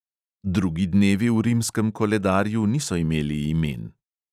Drugi dnevi v rimskem koledarju niso imeli imen.